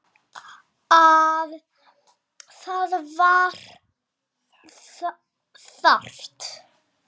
Það var þarft.